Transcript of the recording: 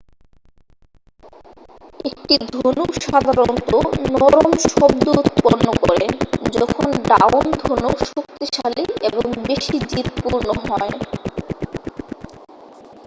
একটি ধনুক সাধারণত নরম শব্দ উৎপন্ন করে যখন ডাউন-ধনুক শক্তিশালী এবং বেশি জিদপূর্ণ হয়